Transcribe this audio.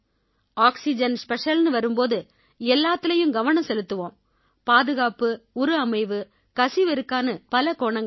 oxygen ஸ்பெஷல்னு வரும் போது எல்லாத்திலயும் கவனம் செலுத்துவோம் பாதுகாப்பு உரு அமைவு கசிவு இருக்கான்னு பல கோணங்கள்